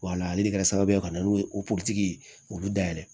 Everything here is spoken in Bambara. Wala ale de kɛra sababu ye ka na n'o ye o puruke olu da yɛlɛ